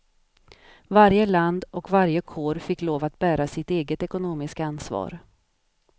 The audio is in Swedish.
Varje land och varje kår fick lov att bära sitt eget ekonomiska ansvar.